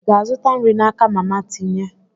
Ị ga-azụta nri n'aka mama tinye?